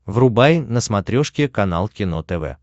врубай на смотрешке канал кино тв